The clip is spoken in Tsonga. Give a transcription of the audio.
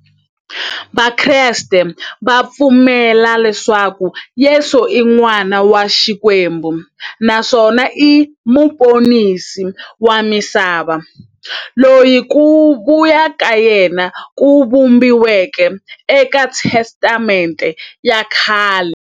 Vakreste va pfumela leswaku Yesu i n'wana wa Xikwembu naswona i muponisi wa misava, loyi ku vuya ka yena ku vhumbiweke e ka Testamente ya khale.